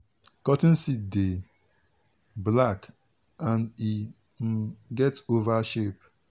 cotton seed dey black and e um get oval shape.